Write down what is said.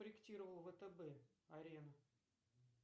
проектировал втб арену